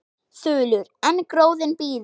Þulur: En gróðinn býður?